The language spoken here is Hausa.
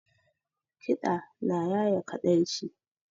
Kiɗa na ya ye kaɗaici